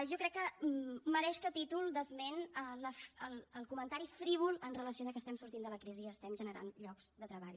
jo crec que mereix capítol d’esment el comentari frívol amb relació al fet que estem sortint de la crisi i estem generant llocs de treball